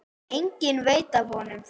Enginn veit af honum þar.